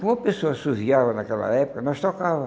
Como a pessoa naquela época, nós tocava.